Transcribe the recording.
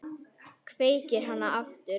Kveikir hana aftur.